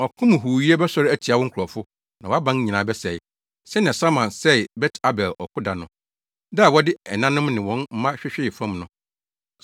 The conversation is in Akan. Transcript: ɔko mu huuyɛ bɛsɔre atia wo nkurɔfo, na wʼaban nyinaa bɛsɛe, sɛnea Salman sɛee Bet Arbel ɔko da no, da a wɔde ɛnanom ne wɔn mma hwehwee fam no.